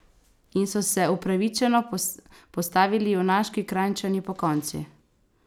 In so se upravičeno postavili junaški Kranjčani pokonci!